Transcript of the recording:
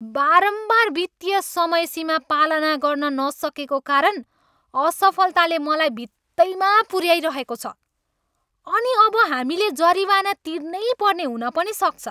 बारम्बार वित्तीय समयसीमा पालना गर्न नसकेको कारण असफलताले मलाई भित्तैमा पुऱ्याइरहेको छ अनि अब हामीले जरिवाना तिर्नैपर्ने हुन पनि सक्छ।